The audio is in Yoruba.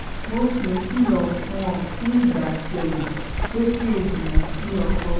mo ṣì ń kìlọ̀ fún ọ fún ìgbà ìkẹyìn pé kí o jìnnà sí ọkọ mi